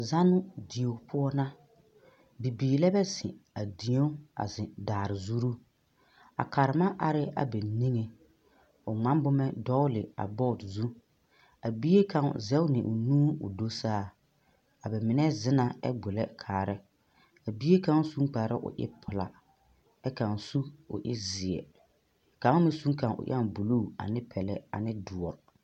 Zɔnnoo die poɔ na bibiiri lɛ zeŋ a die a zeŋ daare zure a karema are ba niŋe o ŋmaa boma a dogle a boɔ zu a bie kaŋ zage la o nuure ko zu saa mine zana kyɛ gbulɛ kaa bie kaŋ su kpare ko e pelaa kyɛ kaŋ su ko e ziɛ kaŋ meŋ suŋ kaŋ ko eŋ buluu ane pelɛ ane doɔ.